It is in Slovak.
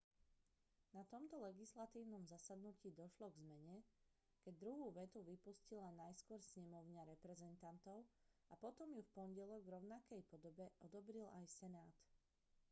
na tomto legislatívnom zasadnutí došlo k zmene keď druhú vetu vypustila najskôr snemovňa reprezentantov a potom ju v pondelok v rovnakej podobe odobril aj senát